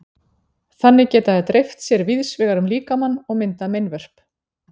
Þannig geta þær dreift sér víðs vegar um líkamann og myndað meinvörp.